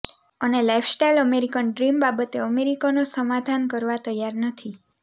અને lifestyle American dream બાબતે અમેરિકનો સમાધાન કરવા તૈયાર નથી